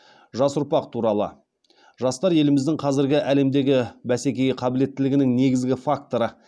жас ұрпақ туралы жастар еліміздің қазіргі әлемдегі бәсекеге қабілеттілігінің негізгі факторы